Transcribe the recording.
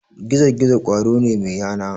Gizo-gizo ƙwaro ne mai yana.